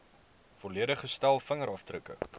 volledige stel vingerafdrukke